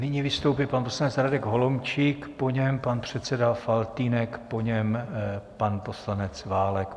Nyní vystoupí pan poslanec Radek Holomčík, po něm pan předseda Faltýnek, po něm pan poslanec Válek.